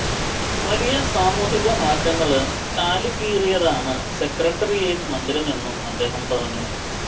വലിയ സാമൂഹിക മാറ്റങ്ങള്ക്ക് ചാലുകീറിയതാണ് സെക്രട്ടറിയേറ്റ് മന്ദിരമെന്നും അദ്ദേഹം പറഞ്ഞു